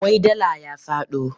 Wai dala ya faɗo?